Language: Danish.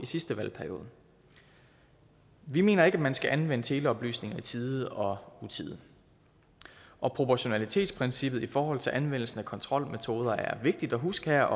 i sidste valgperiode vi mener ikke at man skal anvende teleoplysninger i tide og utide og proportionalitetsprincippet i forhold til anvendelsen af kontrolmetoder er vigtigt at huske her